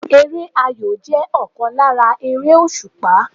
Eré ayò jẹ́ ọ̀kan lára eré òsùpá